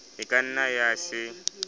e ka nna ya se